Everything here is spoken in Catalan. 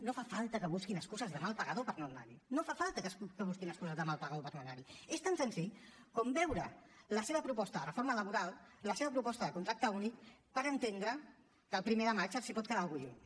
no fa falta que busquin excuses de mal pagador per no anar hi no fa falta que busquin excuses de mal pagador per no anar hi és tan senzill com veure la seva proposta de reforma laboral la seva proposta de contracte únic per entendre que el primer de maig els pot quedar una mica lluny